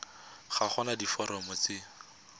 ga go na diforomo tse